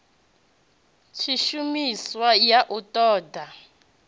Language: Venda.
tshishumiswa ya u ṱo ḓa